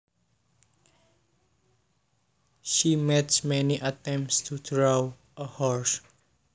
She made many attempts to draw a horse